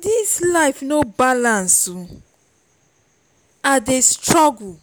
dis life no balance i dey struggle